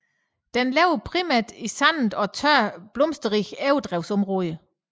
Den lever primært i sandende og tørre blomsterrige overdrevsområder